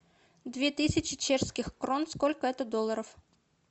две тысячи чешских крон сколько это долларов